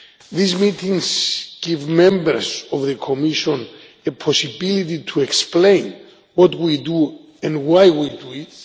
These meetings give members of the Commission a possibility to explain what we do and why we do it.